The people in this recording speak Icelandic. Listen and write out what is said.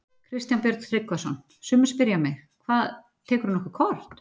Kristján Björn Tryggvason: Sumir spyrja mig: Hvað, tekurðu nokkuð kort?